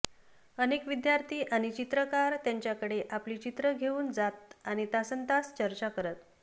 अनेक विद्यार्थी आणि चित्रकार त्यांच्याकडे आपली चित्रं घेऊन जात आणि तासन्तास चर्चा करत